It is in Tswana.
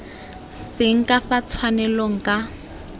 seng ka fa tshwanelong ka